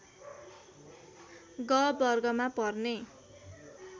ग वर्गमा पर्ने